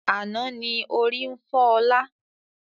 Àná ni ó rí ń fọ ọ̀la.